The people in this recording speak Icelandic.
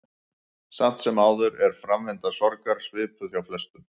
Samt sem áður er framvinda sorgar svipuð hjá flestum.